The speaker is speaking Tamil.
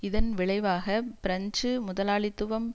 இதன் விளைவாக பிரெஞ்சு முதலாளித்துவம்